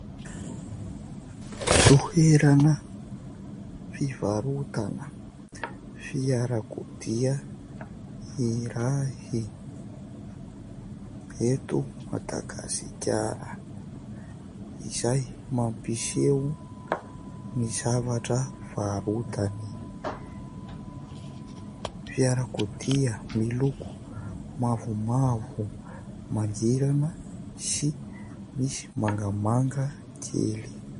Toerana fivarotana fiarakodia iray eto Madagasikara izay mampiseho ny zavatra varotany : fiarakodia miloko mavomavo mangirana sy misy mangamanga kely.